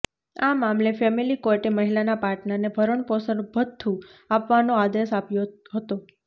આ મામલે ફેમેલી કોર્ટે મહિલાના પાર્ટનરને ભરણપોષણ ભથ્થું આપવાનો આદેશ આપ્યો હતો